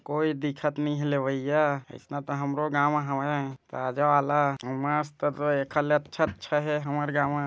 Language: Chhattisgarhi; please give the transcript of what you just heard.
कोई दिखत नइ लवइया इसना तो हमरो गाँव हवय ताज़ा वाला अउ मस्त ऐखर ले अच्छा अच्छा हे हमर गाँव मा--